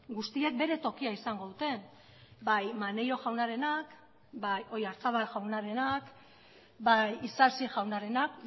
guztiek bere tokia izango dute bai maneiro jaunarenak bai oyarzabal jaunarenak bai isasi jaunarenak